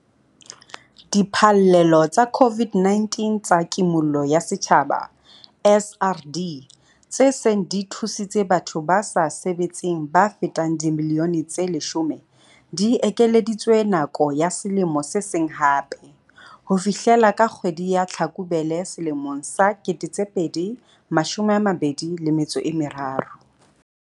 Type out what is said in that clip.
Diphallelo tsa COVID-19 tsa Kimollo ya Setjhaba, SRD, tse seng di thusitse batho ba sa sebetseng ba fetang dimilione tse 10, di ekeleditswe nako ya selemo se seng hape - ho fihlela ka kgwedi ya Tlhakubele selemong sa 2023.